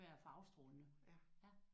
Ja og det skulle være farvestrålende